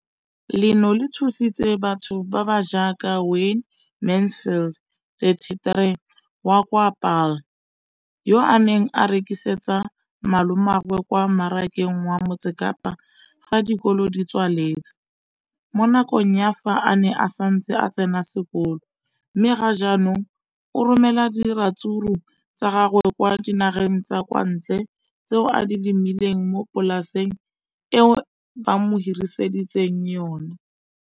Leno le thusitse batho ba ba jaaka Wayne Mansfield 33 wa kwa Paarl, yo a neng a rekisetsa malomagwe kwa Marakeng wa Motsekapa fa dikolo di tswaletse, mo nakong ya fa a ne a santse a tsena sekolo, mme ga jaanong o romela diratsuru tsa gagwe kwa dinageng tsa kwa ntle tseo a di lemileng mo polaseng eo ba mo hiriseditseng yona.